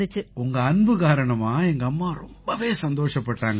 உங்க அன்பு காரணமா எங்கம்மா ரொம்பவே சந்தோஷப்பட்டாங்க